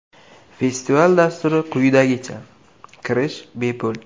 Festival dasturi quyidagicha: Kirish bepul.